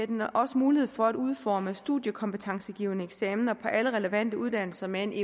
den også mulighed for at udforme studiekompetencegivende eksamener på alle relevante uddannelser med en